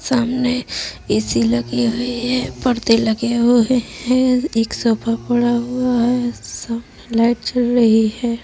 सामने ऐसी लगी हुई है। पर्दे लगे हुऐ हैं। एक सोफा पड़ा हुआ है। सामने लाइट जल रही हैं।